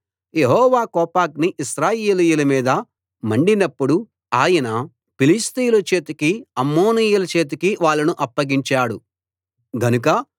యెహోవా కోపాగ్ని ఇశ్రాయేలీయుల మీద మండినప్పుడు ఆయన ఫిలిష్తీయుల చేతికి అమ్మోనీయుల చేతికి వాళ్ళను అప్పగించాడు గనుక